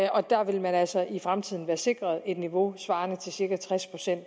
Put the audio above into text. og der vil man altså i fremtiden være sikret et niveau svarende til cirka tres procent